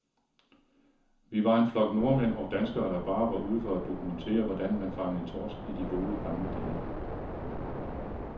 Vi var en flok nordmænd og danskere, der bare var ude for at dokumentere, hvordan man fangede torsk i de gode, gamle dage.